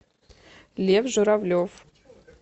лев журавлев